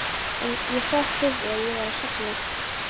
Ég hrökk upp við að ég var að sofna.